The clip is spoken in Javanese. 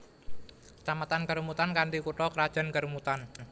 Kecamatan Kerumutan kanthi kutha krajan Kerumutan